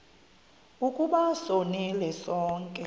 ukuba sonile sonke